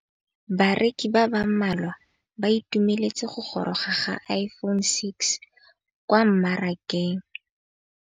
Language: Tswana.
Bareki ba ba malwa ba ituemeletse go gôrôga ga Iphone6 kwa mmarakeng.